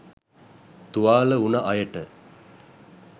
තුවාල වුණ අයට